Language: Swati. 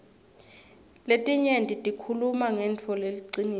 letinye tikhuluma ngentfo leliciniso